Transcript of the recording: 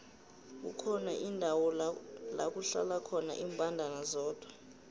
kukhona indawo lakuhlala khona imbandana zodwa